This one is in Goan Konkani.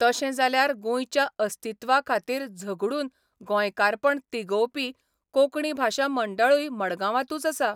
तशें जाल्यार गोंयच्या अस्तित्वा खातीर झगडून गोंयकारपण तिगोवपी कोंकणी भाशा मंडळूय मडगांवांतूच आसा.